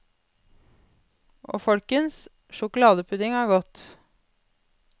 Og folkens, sjokoladepudding er godt.